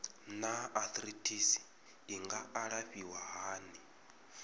naa arthritis i nga alafhiwa hani